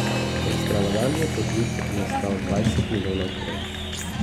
Ekstravagantni podvig ga je stal dvajset milijonov kron.